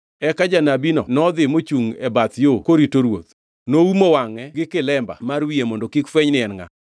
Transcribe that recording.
Eka janabino nodhi mochungʼ e bath yo korito ruoth. Noumo wangʼe gi kilemba mar wiye mondo kik fweny ni en ngʼa.